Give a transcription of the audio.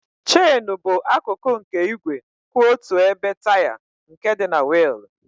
Chènú bụ akụkụ nke igwe kwụ otu ebe taya nke dị na wịịl.